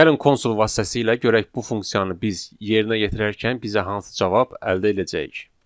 Gəlin konsol vasitəsilə görək bu funksiyanı biz yerinə yetirərkən bizə hansı cavab əldə edəcəyik.